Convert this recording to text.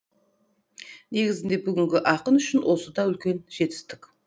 негізінде бүгінгі ақын үшін осы да үлкен жетістік